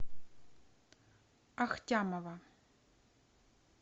ахтямова